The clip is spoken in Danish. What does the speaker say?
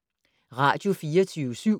Radio24syv